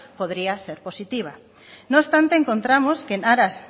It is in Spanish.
podría ser positiva no obstante encontramos que en aras